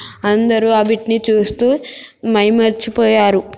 అందరు అవిటిని చూస్తూ మైమరిచి పోయారు